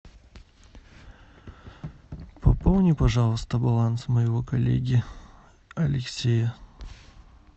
пополни пожалуйста баланс моего коллеги алексея